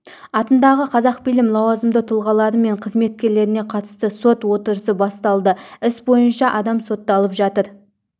атындағы қазақфильм лауазымды тұлғалары мен қызметкерлеріне қатысты сот отырысы басталды іс бойынша адам сотталып жатыр